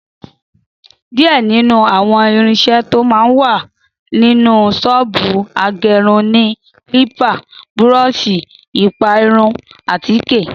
Díẹ̀ nínú àwọn irinṣẹ́ tó máa ń wà nínú ṣọ́ọ̀bù agẹrun ni kílípà, búrọ́ọ̀ṣì, ìpara irun, àtíkè